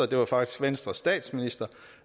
det var faktisk venstres statsminister